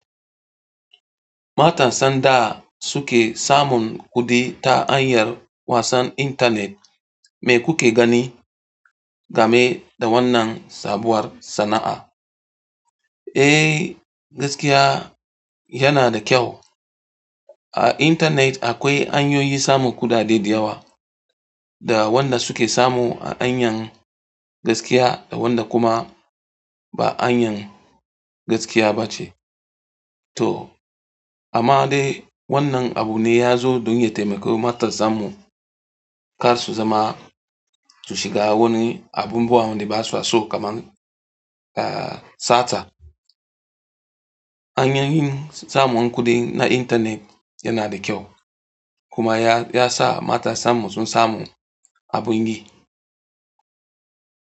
Matasan da suke samun kuɗi ta anyar wasan intanet. Me kuke gani game da wannan sabuwar sana'a? Eh, gaskiya yana da kyau. A intanet akwai anyoyi samun kuɗaɗe da yawa, da wanda suke samu a anyan gaskiya da wanda kuma ba anyan gaskiya ba ce. To amma dai wannan abu ne ya zo don ya taimaki matasan mu kar su zama su shiga wani abubuwan da basa so kaman ah sata. Anyoyin samun kuɗi na intanet yana da kyau kuma ya ya sa matasan mu sun samu abun yi.